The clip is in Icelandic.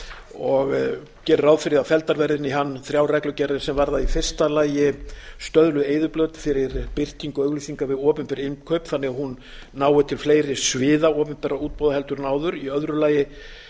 og gerir ráð fyrir að felldar verði inn hann þrjár reglugerðir sem varða í fyrsta lagi stöðluð eyðublöð fyrir birtingu auglýsinga við opinber innkaup þannig að hún nái til fleiri sviða opinberra útboða heldur en áður í öðru lagi